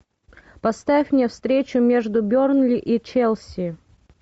поставь мне встречу между бернли и челси